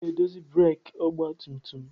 M ga-edozi breeki ọgba tum tum m.